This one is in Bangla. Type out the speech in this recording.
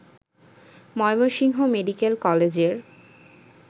ময়মনসিংহ মেডিকেল কলেজের